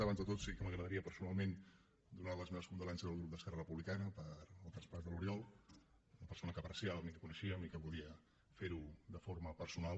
abans de tot sí que m’agradaria personalment donar les meves condolences al grup d’esquerra republicana pel traspàs de l’oriol una persona que apreciàvem i que coneixíem i que volia ferho de forma personal